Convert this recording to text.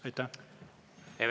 Aitäh!